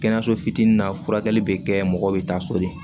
Kɛnɛyaso fitinin na furakɛli bɛ kɛ mɔgɔw be taa so de